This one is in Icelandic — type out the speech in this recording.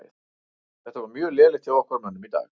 Þetta var mjög lélegt hjá okkar mönnum í dag.